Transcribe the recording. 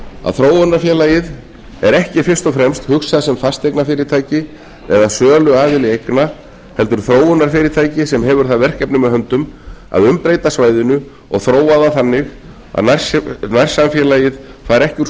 að þróunarfélagið er ekki fyrst og fremst hugsað sem fasteignafyrirtæki eða söluaðili eigna heldur þróunarfyrirtæki sem hefur það verkefni með höndum að umbreyta svæðinu og þróa það þannig að nærsamfélagið fari ekki úr